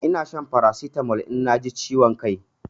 Ina shan Farasitamol in na ji ciwon kai